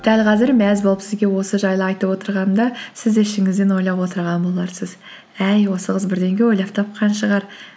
дәл қазір мәз болып сізге осы жайлы айтып отырғанымда сіз де ішіңізден ойлап отырған боларсыз әй осы қыз бірдеңе ойлап тапқан шығар